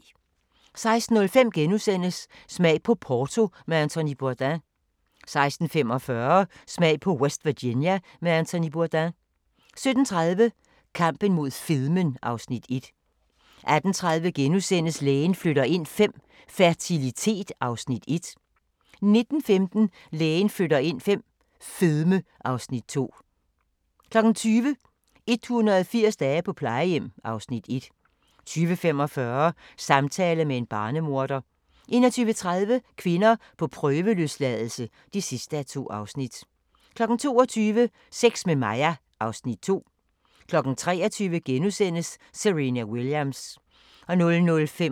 16:05: Smag på Porto med Anthony Bourdain * 16:45: Smag på West Virginia med Anthony Bourdain 17:30: Kampen mod fedmen (Afs. 1) 18:30: Lægen flytter ind V – fertilitet (Afs. 1)* 19:15: Lægen flytter ind V - fedme (Afs. 2) 20:00: 180 dage på plejehjem (Afs. 1) 20:45: Samtale med en barnemorder 21:30: Kvinder på prøveløsladelse (2:2) 22:00: Sex med Maja (Afs. 2) 23:00: Serena Williams *